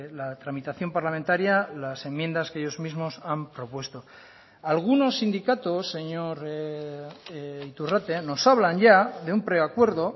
la tramitación parlamentaria las enmiendas que ellos mismos han propuesto algunos sindicatos señor iturrate nos hablan ya de un preacuerdo